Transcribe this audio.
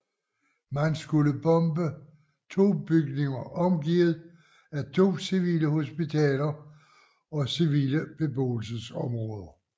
Man skulle bombe 2 bygninger omgivet af 2 civile hospitaler og civile beboelsesområder